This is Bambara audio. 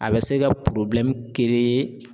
A bɛ se ka